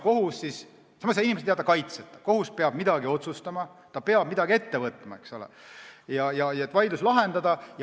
Samas ei saa inimesed jääda kaitseta, kohus peab midagi otsustama, ta peab midagi ette võtma, et vaidlus lahendada.